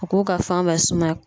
U k'u ka fan bɛɛ sumaya.